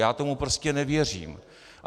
Já tomu prostě nevěřím!